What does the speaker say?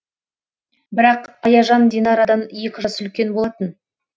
бірақ аяжан динарадан екі жас үлкен болатын